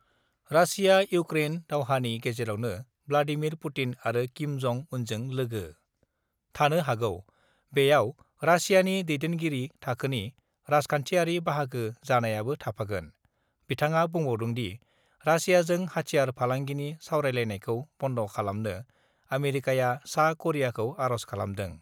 Russia-Ukraine दावहानि गेजेरावनो Vladimir Putin आरो किम जं उनजों लोगो थानो हागौ, बेयाव रासियानि दैदेनगिरि थाखोनि राजखान्थियारि बाहागो जानायाबो थाफागोन बिथाङा बुंबावदोंदि, रासियाजों हाथियार फालांगिनि सावरायलायनायखौ बन्द' खालामनो आमेरिकाया सा करियाखौ आर'ज खालामदों।